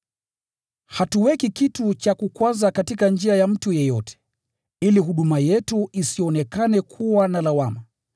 Hatuweki kitu cha kukwaza katika njia ya mtu yeyote, ili huduma yetu isionekane kuwa na lawama.